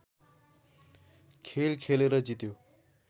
खेल खेलेर जित्यो